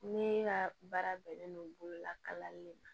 Ne ka baara bɛnnen don bololakali ma